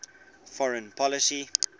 foreign policy